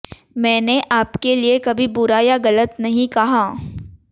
मैंने आपके लिए कभी बुरा या गलत नहीं कहा